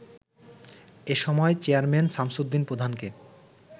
এসময় চেয়ারম্যান শামছুদ্দিন প্রধানকে